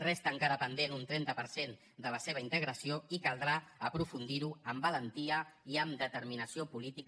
resta encara pendent un trenta per cent de la seva integració i caldrà aprofundir ho amb valentia i amb determinació política